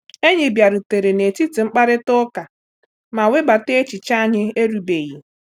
Enyi bịarutere n’etiti mkparịta ụka ma webata echiche anyị erubeghị.